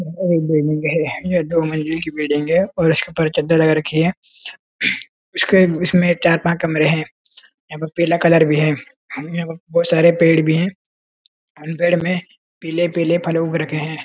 एक बिल्डिंग है ये दो मंजिल की बिल्डिंग है और उसके ऊपर चद्दर लगा रखी है इसके इसमें चार पाँच कमरे हैं यहाँ पर पीला कलर भी है यहां बहुत सारे पेड़ भी हैं उन पेड़ में पीले पीले फल उग रखे हैं।